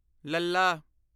ਲੱਲਾ